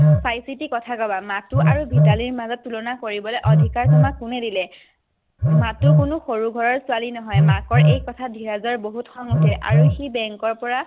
চাই চিতি কথা ক'বা মাথো আৰু মিতালীৰ মাজত তুলনা কৰিবলৈ তোমাক অধিকাৰ কোনে দিলে মাথো কোনো সৰু ঘৰৰ ছোৱালী নহয়, মাকৰ এই কথা শুনি ধীৰজৰ বহুত খং উঠে আৰু bank ৰ পৰা